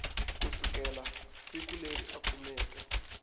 kusukela siku leri a kumeke